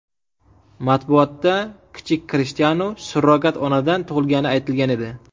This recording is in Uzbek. Matbuotda kichik Krishtianu surrogat onadan tug‘ilgani aytilgan edi.